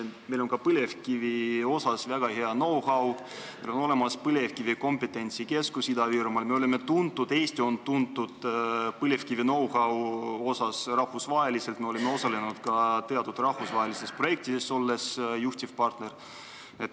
Meil on ka põlevkivi asjus väga hea know-how, Ida-Virumaal on Põlevkivi Kompetentsikeskus, Eesti on põlevkivi know-how poolest rahvusvaheliselt tuntud, me oleme osalenud ka rahvusvahelistes projektides, olles seal juhtiv partner.